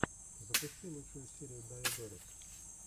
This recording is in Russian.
запусти лучшую серию дайодорис